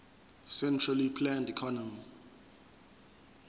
centrally planned economy